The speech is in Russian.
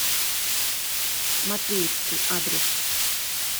матвеевский адрес